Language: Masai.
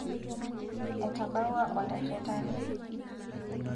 etabawua olairritani